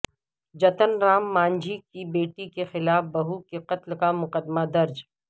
جتن رام مانجھی کی بیٹی کے خلاف بہو کے قتل کا مقدمہ درج